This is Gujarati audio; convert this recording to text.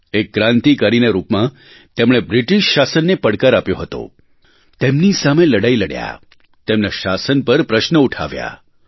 એક ક્રાન્તિકારીના રૂપમાં તેમણે બ્રિટિશ શાસનને પડકાર આપ્યો હતો તેમની સામે લડાઇ લડ્યા તેમનાં શાસન પર પ્રશ્ન ઊઠાવ્યાં